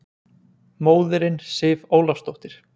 Móðirin Sif Ólafsdóttir!